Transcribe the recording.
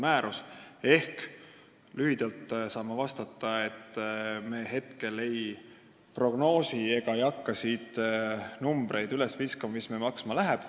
Ma saan lühidalt vastata, et me praegu ei prognoosi ega hakka siin üles viskama numbreid, mis see maksma läheb.